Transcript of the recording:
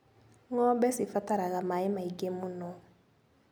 Ngombe cibataraga maĩ maingĩ mũno.